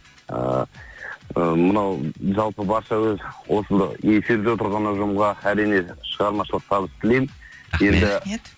ыыы мынау жалпы барша өз осы эфирде отырған ұжымға әрине шығармашылық табыс тілеймін рахмет рахмет